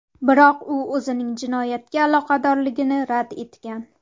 Biroq u o‘zining jinoyatga aloqadorligini rad etgan.